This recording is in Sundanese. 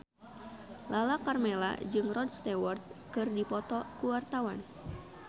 Lala Karmela jeung Rod Stewart keur dipoto ku wartawan